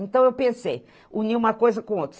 Então eu pensei, unir uma coisa com outra.